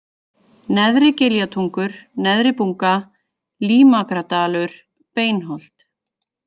Neðri-Giljatungur, Neðri-Bunga, Límakradalur, Beinholt